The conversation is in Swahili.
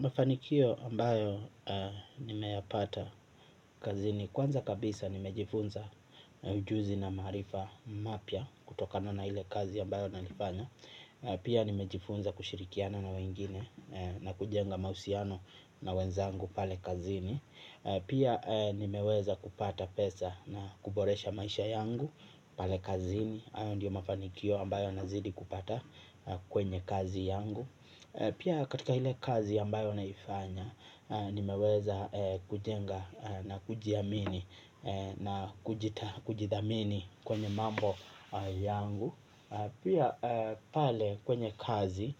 Mafanikio ambayo nimeyapata kazini kwanza kabisa nimejifunza ujuzi na maarifa mapya kutokana na ile kazi ambayo nalifanya. Pia nimejifunza kushirikiana na wengine na kujenga mahusiano na wenzangu pale kazini. Pia nimeweza kupata pesa na kuboresha maisha yangu pale kazini hayo ndiyo mafanikio ambayo nazidi kupata kwenye kazi yangu. Pia katika ile kazi ambayo naifanya nimeweza kujenga na kujiamini na kujidhamini kwenye mambo yangu. Pia pale kwenye kazi